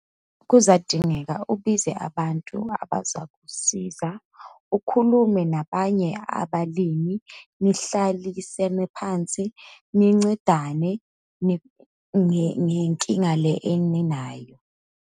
Kuzadingeka ubize abantu abazakusiza, ukhulume nabanye abalimi, nihlalisene phansi, nincedane, ngenkinga le eninayo.